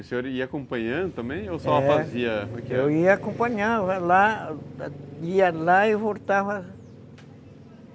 E o senhor ia acompanhando também, ou só fazia... Eu ia acompanhando, ia lá e voltava.